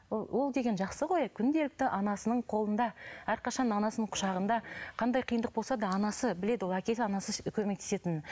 ол деген жақсы ғой күнделікті анасының қолында әрқашан анасының құшағында қандай қиындық болса да анасы біледі ол әкесі анасы көмектесетінін